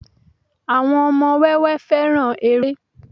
àwọn ọmọ wẹwẹ fẹràn eré